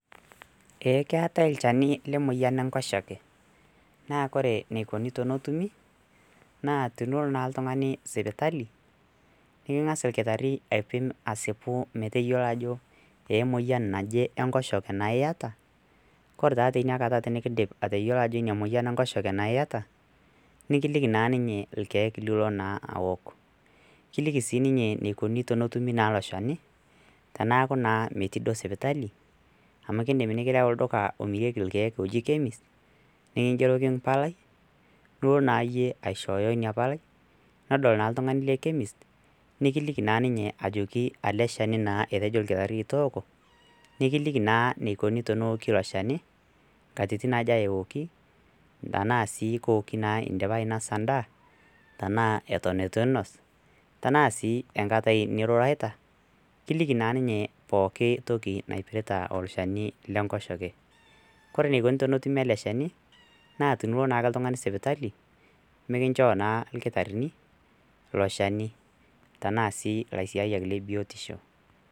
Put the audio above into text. Ekeatae lchenu le moyian enkosheke naaa kore neikoni tenetumi naa tenilo naa ltungani sipitali nikingas lkitari aipim aisipu meteyolo ajo eemoyian naje enkoshoke naa ieta, kore taa teniakata tinikindim atoyolo ajo ina moyian enkoshoke naa ieta, nikiliki naa ninye ilkiek nio na aok, kiliki sii ninye neikoni tenetumi naa ilo eni teneaku naa metii duo sipitali amu keidim nikirau olduka omireki ilkiek oji chemist nikingeroki impalai nilo naa iye aishooyo ina palai nedol naa ltungani le chemist nikiliki naa ninye ajoki ale sheni naa etejo lkitari tooko nikiliki na neikoni teneoki ilo sheni, nkatitin aja eoki, tanaa sii keoki indipa ainosa indaa tanaa eton etu iinos, anaa sii enkatai niruraita, kiliki naa ninye pooki naipirrta olsheni le nkosheke, kore neikoni tenetumi ilo sheni naa tinilo naake ltungani sipitali mikinchoo naa lkitarini ilo sheni tanaa sii lasaiyak le biotisho.